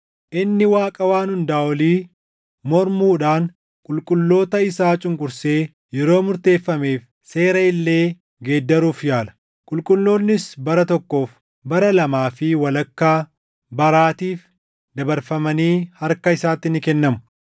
Inni Waaqa Waan Hundaa Olii mormuudhaan qulqulloota isaa cunqursee yeroo murteeffameef seera illee geeddaruuf yaala. Qulqulloonnis bara tokkoof, bara lamaa fi walakkaa baraatiif dabarfamanii harka isaatti ni kennamu.